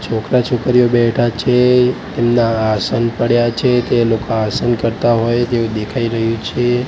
છોકરા છોકરીઓ બેઠા છે એમના આસન પડ્યા છે તે લોકા આસન કરતા હોય એવુ દેખાઈ રહ્યું છે.